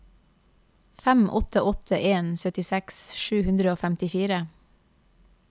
fem åtte åtte en syttiseks sju hundre og femtifire